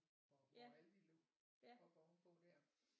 Hvor Aldi lå oppe ovenpå der